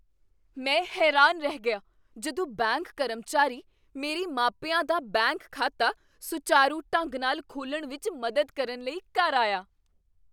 ਮੈਂ ਹੈਰਾਨ ਰਹਿ ਗਿਆ ਜਦੋਂ ਬੈਂਕ ਕਰਮਚਾਰੀ ਮੇਰੇ ਮਾਪਿਆਂ ਦਾ ਬੈਂਕ ਖਾਤਾ ਸੁਚਾਰੂ ਢੰਗ ਨਾਲ ਖੋਲ੍ਹਣ ਵਿੱਚ ਮਦਦ ਕਰਨ ਲਈ ਘਰ ਆਇਆ।